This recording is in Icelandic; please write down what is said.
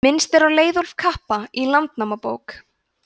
minnst er á leiðólf kappa í landnámabók